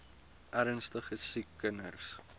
ernstige siek kinders